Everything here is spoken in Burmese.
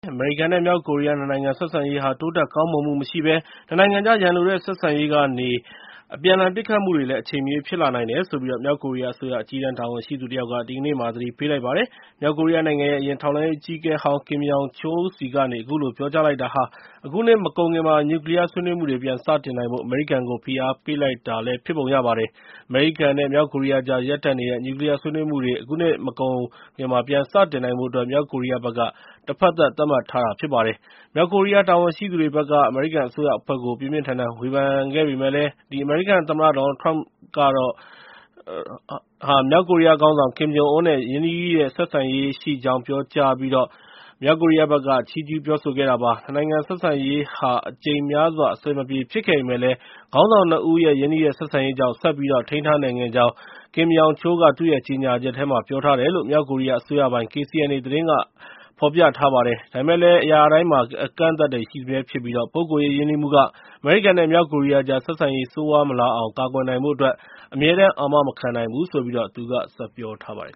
အမေရိကန်နဲ့ မြောက်ကိုရီးယား ၂ နိုင်ငံ ဆက်ဆံရေးဟာ တိုးတက်ကောင်းမွန်မှုမရှိဘဲ ၂ နိုင်ငံကြား ရန်လိုတဲ့ ဆက်ဆံရေးက အပြန်အလှန် ပစ်ခတ်မှုတွေ အချိန်မရွေး ဖြစ်လာနိုင်တယ်လို့ မြောက်ကိုရီးယားအစိုးရ အကြီးတန်း တာဝန်ရှိသူတယောက်က ဒီကနေ့ သတိပေးလိုက်ပါတယ်။ မြောက်ကိုရီးယားနိုင်ငံရဲ့ အရင် ထောက်လှမ်းရေး အကြီးအကဲဟောင်း Kim Yong Chol ဆီကနေ အခုလို ပြောကြားလိုက်တာဟာ အခုနှစ်မကုန်ခင်မှာ နျူကလီးယား ဆွေးနွေးမှုတွေ ပြန်စတင်နိုင်ဖို့ အမေရိကန်ကို ဖိအားပေးလိုက်တာ ဖြစ်ပုံရပါတယ်။ အမေရိကန်နဲ့ မြောက်ကိုရီးယားကြား ရပ်တန့်နေတဲ့ နျူကလီးယား ဆွေးနွေးမှုတွေ အခုနှစ်မကုန်ခင် ပြန်စတင်နိုင်ဖို့အတွက် မြောက်ကိုရီးယားဘက်က တဖက်သတ် သတ်မှတ်ထားတာ ဖြစ်ပါတယ်။ မြောက်ကိုရီးယား တာဝန်ရှိသူတွေဘက်က အမေရိကန် အစိုးရအဖွဲ့ကို ပြင်းပြင်းထန်ထန် ဝေဖန်ခဲ့ပေမယ့်လည်း အမေရိကန်သမ္မတ Trump ကတော့ မြောက်ကိုရီးယားခေါင်းဆောင် Kim Jong Un နဲ့ ရင်းနှီးတဲ့ ဆက်ဆံရေးရှိကြောင်း ပြောကြားပြီး လပေါင်းများစွာ ချီးကျူးပြောဆိုခဲ့တာပါ။ ၂ နိုင်ငံ ဆက်ဆံရေးက အကြိမ်များစွာ အဆင်မပြေ ဖြစ်ခဲ့ပေမယ့်လည်း ခေါင်းဆောင် ၂ ဦးရဲ့ ရင်းနှီးတဲ့ ဆက်ဆံရေးကြောင့် ဆက်ပြီး ထိန်းထားနိုင်ခဲ့ကြောင်း၊ Kim Yong Chol က သူ့ရဲ့ ကြေညာချက်ထဲမှာ ပြောထားတယ်လို့ မြောက်ကိုရီးယားအစိုးရပိုင် KCNA သတင်းက ဖော်ပြလိုက်ပါတယ်။ ဒါပေမယ့်လည်း အရာတိုင်းမှာ အကန့်အသတ်တွေ ရှိစမြဲဖြစ်ပြီး ပုဂ္ဂိုလ်ရေး ရင်းနှီးမှုက အမေရိကန်နဲ့ မြောက်ကိုရီးယားကြား ဆက်ဆံရေး ဆိုးရွားမလာအောင် ကာကွယ်နိုင်ဖို့ အမြဲတမ်း အာမမခံနိုင်ဘူးလို့ သူက ဆက်ပြောပါတယ်